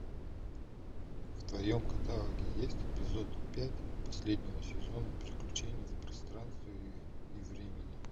в твоем каталоге есть эпизод пять последнего сезона приключение в пространстве и времени